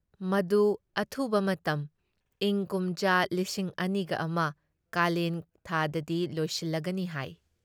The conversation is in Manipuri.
ꯃꯗꯨ ꯑꯊꯨꯕ ꯃꯇꯝ ꯏꯪꯀꯨꯝꯖꯥ ꯂꯤꯁꯤꯡ ꯑꯅꯤꯒ ꯑꯃ ꯀꯥꯂꯦꯟ ꯊꯥꯗꯗꯤ ꯂꯣꯏꯁꯤꯜꯂꯒꯅꯤ ꯍꯥꯏ ꯫